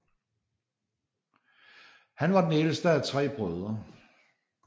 Han var den ældste af tre brødre